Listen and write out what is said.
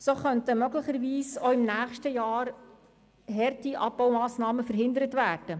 So könnten möglicherweise auch im nächsten Jahr harte Abbaumassnahmen verhindert werden.